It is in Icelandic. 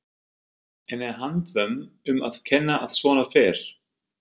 En er handvömm um að kenna að svona fer?